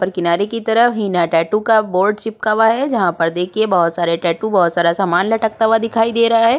और किनारे कि तरफ हीना टैटू का बोर्ड चिपका हुआ है जहाँपर देखिये बहोत सारे टैटू बहोत सारा सामान लटकता हुआ दिखाई दे रहा है।